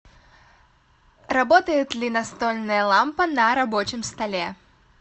работает ли настольная лампа на рабочем столе